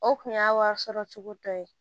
O kun y'a wari sɔrɔ cogo dɔ ye